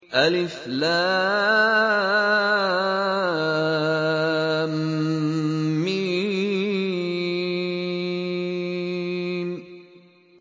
الم